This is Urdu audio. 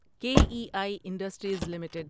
کے ای آئی انڈسٹریز لمیٹڈ